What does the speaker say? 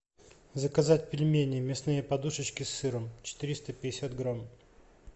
заказать пельмени мясные подушечки с сыром четыреста пятьдесят грамм